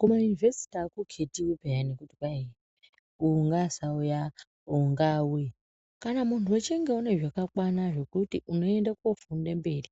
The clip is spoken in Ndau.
Kumayunivhesiti hakuchitiwi pheyani kuti kwai uyu ngaasauya uyu ngaauye. Kana muntu uchinge une zvakakwana zvekuti unoende kofunde mberi,